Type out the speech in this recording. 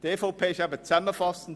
Ich fasse zusammen: